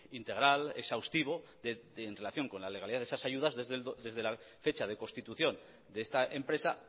integral exhaustivo en relación con la legalidad de esas ayudas desde la fecha de constitución de esta empresa